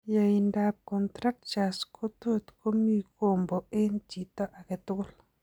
Yaaindab contractures kotot komii kombo eng' chito agetugul